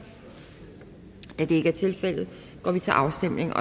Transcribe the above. da det ikke er tilfældet går vi til afstemning